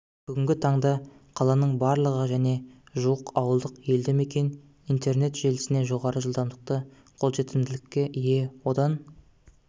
бүгінгі таңда қаланың барлығы және жуық ауылдық елді мекен интернет желісіне жоғары жылдамдықты қолжетімділікке ие одан